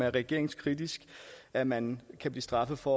er regeringskritisk at man kan blive straffet for